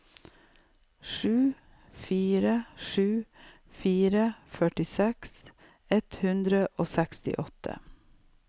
sju fire sju fire førtiseks ett hundre og sekstiåtte